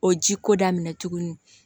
O ji ko daminɛ tuguni